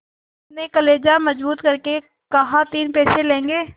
हामिद ने कलेजा मजबूत करके कहातीन पैसे लोगे